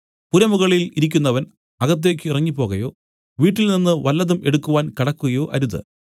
പുരമുകളിൽ ഇരിക്കുന്നവൻ അകത്തേക്ക് ഇറങ്ങിപ്പോകയോ വീട്ടിൽനിന്നു വല്ലതും എടുക്കുവാൻ കടക്കുകയോ അരുത്